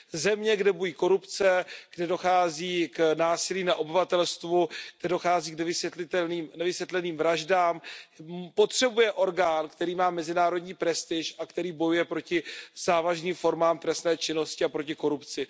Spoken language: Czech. Země, kde bují korupce, kde dochází k násilí na obyvatelstvu, kde dochází k nevysvětleným vraždám, potřebuje orgán, který má mezinárodní prestiž a který bojuje proti závažným formám trestné činnosti a proti korupci.